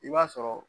I b'a sɔrɔ